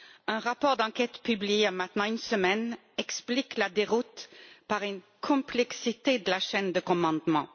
Un rapport d'enquête, publié il y a maintenant une semaine, explique la déroute par une complexité de la chaîne de commandement.